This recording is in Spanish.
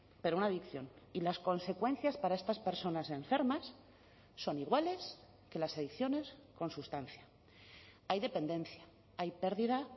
pero una adicción y las consecuencias para estas personas enfermas son iguales que las adicciones con sustancia hay dependencia hay pérdida